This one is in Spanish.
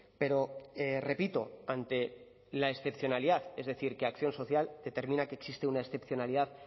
pero repito ante la excepcionalidad es decir que acción social determina que existe una excepcionalidad